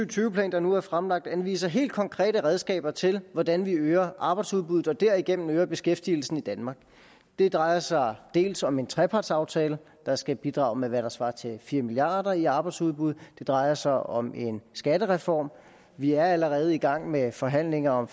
tyve plan der nu er fremlagt anviser helt konkrete redskaber til hvordan vi øger arbejdsudbuddet og derigennem øger beskæftigelsen i danmark det drejer sig dels om en trepartsaftale der skal bidrage med hvad der svarer til fire milliard kroner i arbejdsudbud det drejer sig om en skattereform vi er allerede i gang med forhandlinger om